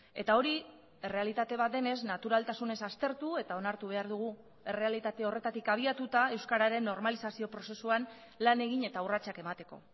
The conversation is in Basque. eta hori errealitate bat denez naturaltasunez aztertu eta onartu behar dugu errealitate horretatik abiatuta euskararen normalizazio prozesuan lan egin eta urratsak emateko